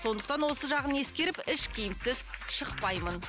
сондықтан осы жағын ескеріп іш киімсіз шықпаймын